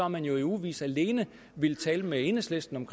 man jo i ugevis alene villet tale med enhedslisten om